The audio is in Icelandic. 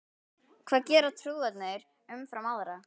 Hvað gera trúaðir umfram aðra?